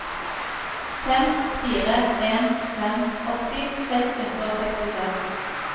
fem fire en fem åtti seks hundre og sekstiseks